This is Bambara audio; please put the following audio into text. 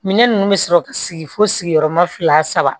Minɛn ninnu bɛ sɔrɔ ka sigi fo sigiyɔrɔma fila saba